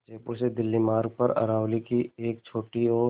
जयपुर से दिल्ली मार्ग पर अरावली की एक छोटी और